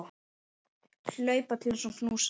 Hlaupa til hans og knúsa.